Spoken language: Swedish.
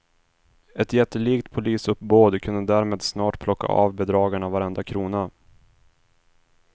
Ett jättelikt polisuppbåd kunde därmed snart plocka av bedragarna varenda krona.